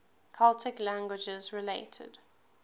celtic languages related